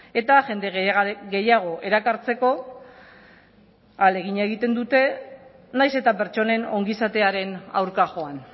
eta jende gehiago erakartzeko ahalegina egiten dute nahiz eta pertsonen ongizatearen aurka joan